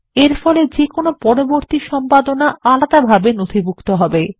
এরফলে যেকোনো পরবর্তী সম্পাদনা আলাদাভাবে নথিভুক্ত হবে